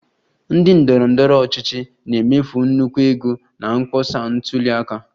Ndị ndọrọ ndọrọ ọchịchị na-emefu nnukwu ego na mkpọsa ntuli aka